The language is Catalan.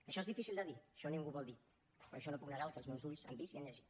això és difícil de dir això ningú ho vol dir però jo no puc negar el que els meus ulls han vist i han llegit